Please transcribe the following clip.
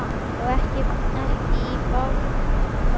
Og ekki í bráðina heldur.